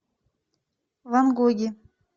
ван гоги